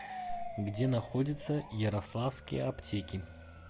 где находится ярославские аптеки